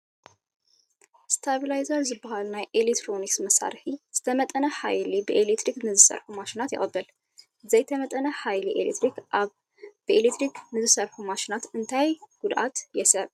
ስታቢላይዘር ዝበሃል ናይ ኤለክትሮኒክ መሳርሒ ዝተመጠነ ሓይሊ ብኤለክትሪክ ንዝሰርሑ ማሽናት የቕብል፡፡ ዘይተመጠነ ሓይሊ ኤለክትሪክ ኣብ ብኤለክትሪክ ዝሰርሑ ማሽናት እንታይ ጉድኣት የስዕብ?